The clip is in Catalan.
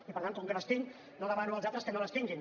i per tant com que les tinc no demano als altres que no les tinguin